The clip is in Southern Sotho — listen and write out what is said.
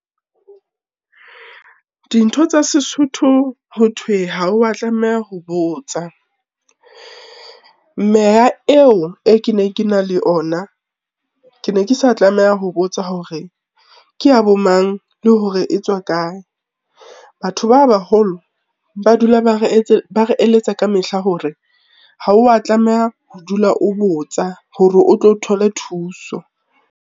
Dintho tsa sesotho ho thwe ha wa tlameha ho botsa. Meya eo e ke ne ke na le ona, ke ne ke sa tlameha ho botsa hore ke ya bo mang, le hore e tswa kae. Batho ba baholo ba dula ba re , ba re eletsa kamehla hore ha wa tlameha ho dula o botsa hore o tlo thole thuso.